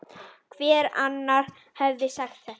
Hver annar hefði sagt þetta?